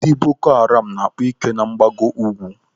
Ndị Boko Haram na-akpa ike na mgbago ukwu.